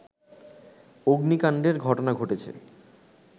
অগ্নিকাণ্ডের ঘটনা ঘটেছে